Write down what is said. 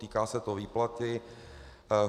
Týká se to výplaty.